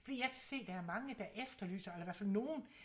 fordi jeg kan se der er mange der efterlyser i hvert fald nogen